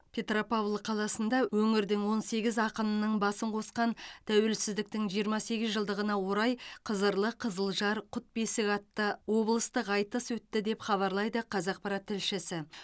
петропавл қаласында өңірдің он сегіз ақынының басын қосқан тәуелсіздіктің жиырма сегіз жылдығына орай қызырлы қызылжар құт бесік атты облыстық айтыс өтті деп хабарлайды қазақпарат тілшісі